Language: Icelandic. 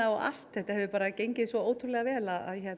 og allt þetta hefur bara gengið svo ótrúlega vel